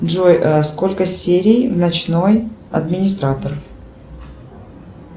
джой сколько серий в ночной администратор